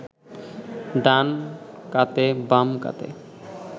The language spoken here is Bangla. ডান কাতে বাম কাতে